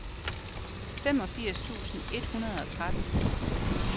femogfirs tusind et hundrede og tretten